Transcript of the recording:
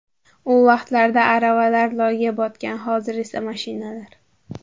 U vaqtlarda aravalar loyga botgan, hozir esa mashinalar.